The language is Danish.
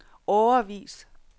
årevis